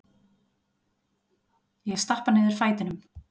Ég stappa niður fætinum.